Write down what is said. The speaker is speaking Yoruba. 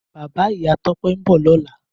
Bàbá Ìyá Tope n bò lòlá